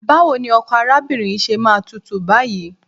Báwo ni ọkọ arábìnrin yìí ṣe máa tútù báyìí?